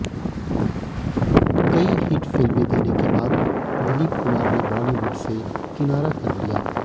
कई हिट फिल्में देने के बाद दिलीप कुमार ने बॉलीवुड से किनारा कर लिया